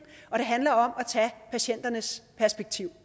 og det handler om at patienternes perspektiv